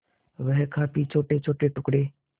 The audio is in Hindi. वह काफी छोटेछोटे टुकड़े